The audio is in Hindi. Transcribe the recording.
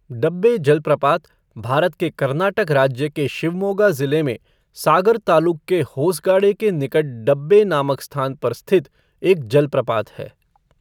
डब्बे जलप्रपात भारत के कर्नाटक राज्य के शिवमोगा ज़िले में सागर तालुक के होसगाडे के निकट डब्बे नामक स्थान पर स्थित एक जलप्रपात है।